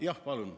Jah, palun!